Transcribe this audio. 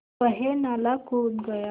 वह नाला कूद गया